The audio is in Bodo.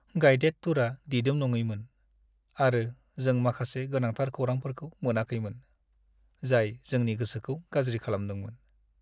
गाइदेड टुरआ दिदोम नङैमोन, आरो जों माखासे गोनांथार खौरांफोरखौ मोनाखैमोन, जाय जोंनि गोसोखौ गाज्रि खालामदोंमोन।